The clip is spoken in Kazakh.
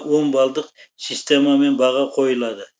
он балдық системамен баға қойылады